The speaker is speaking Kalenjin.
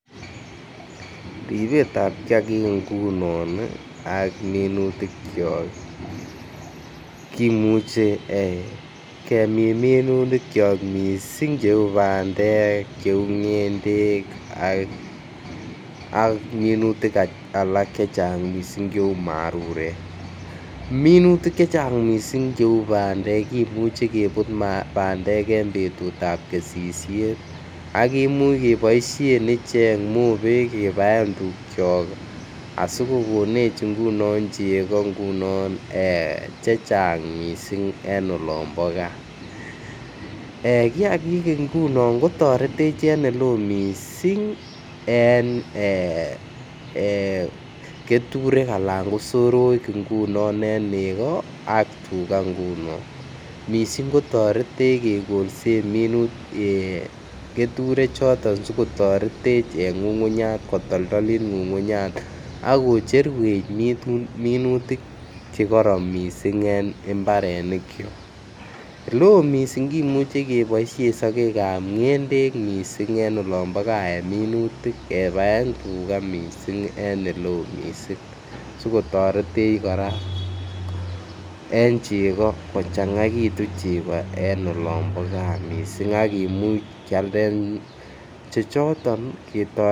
Ribetab kiagik ngunon ak minutikiok kimuche kemin minutikiok cheu bandek Cheu ngendek ak minutik Alak chechang mising cheu marurek minutik Che Chang mising cheu bandek kimuch kebut bandek en betut ab kesisiet ak kimuch keboisien mobek kebaen tuukiok asi kokonech ngunon chego chechang mising en olon bo gaa kiagik nguno kotoretech en Ole oo mising toretech en keturek anan ko soroek chebo nego ak tuga ngunon mising kotoretech kekolsen keturek choto si kotoretech en ngungunyat kotoldollit ngungunyat ak kocherwech minutik Che kororon kot mising en mbarenikyok Imuch keboisien sogek ab ngendek mising ko en olon bo gaa kebaen tuga mising en Ole oo mising si kotoretech kora en chego kochangaitu chego en olon bo gaa mising ak kimuch kealden chechoto ketoretenge